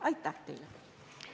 Aitäh teile!